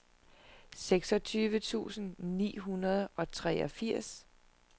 seksogtyve tusind ni hundrede og treogfirs